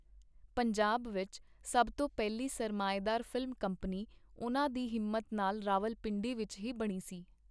ਪੰਜਾਬ ਵਿਚ ਸਭ ਤੋਂ ਪਹਿਲੀ ਸਰਮਾਏਦਾਰ ਫ਼ਿਲਮ ਕੰਪਨੀ ਉਹਨਾਂ ਦੀ ਹਿੰਮਤ ਨਾਲ ਰਾਵਲਪਿੰਡੀ ਵਿਚ ਹੀ ਬਣੀ ਸੀ.